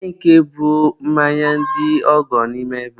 olee nke bụ mmanya ndị ọgọ n'ime ebe a?